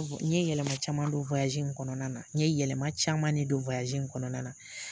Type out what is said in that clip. N yɛlɛma caman dɔn in kɔnɔna na, n ye yɛlɛma caman ne don in kɔnɔna na.